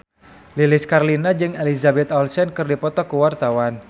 Lilis Karlina jeung Elizabeth Olsen keur dipoto ku wartawan